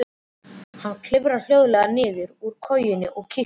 Hann klifraði hljóðlega niður úr kojunni og kíkti.